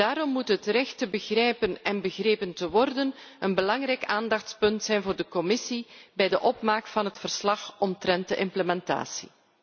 Daarom moet het recht te begrijpen en begrepen te worden een belangrijk aandachtspunt zijn voor de Commissie bij de opmaak van het verslag omtrent de implementatie.